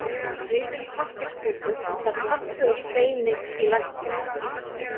Rifinn pappírsbútur sat fastur á steini í læknum.